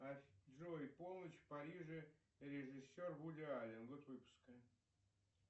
джой полночь в париже режиссер вуди аллен год выпуска